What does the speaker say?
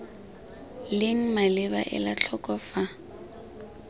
leng maleba ela tlhoko fa